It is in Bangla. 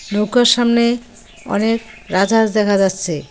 নৌকার সামনে অনেক রাজহাঁস দেখা যাচ্ছে।